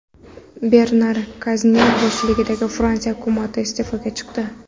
Bernar Kaznev boshchiligidagi Fransiya hukumati iste’foga chiqdi.